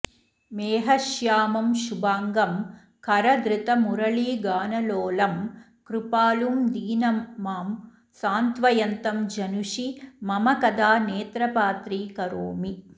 मेघश्यामं शुभाङ्गं करधृतमुरलीगानलोलं कृपालुं दीनं मां सान्त्वयन्तं जनुषि मम कदा नेत्रपात्रीकरोमि